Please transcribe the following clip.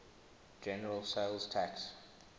general sales tax